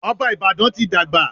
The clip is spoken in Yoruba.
Ọba Ìbàdàn ti dàgbà.